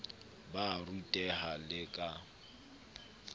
ba a ruteha le ka